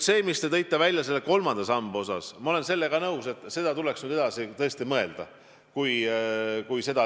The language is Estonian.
See, mis te välja tõite kolmanda samba osas – ma olen nõus, et seda tuleks nüüd tõesti edasi mõelda.